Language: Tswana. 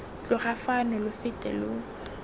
tloga fano lo fete lo